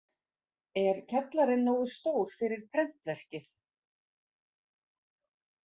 Er kjallarinn nógu stór fyrir prentverkið?